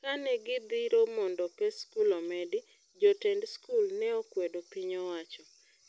Kane gidhiro mondo pes skul omedi, jotend skul neokwedo piny owacho.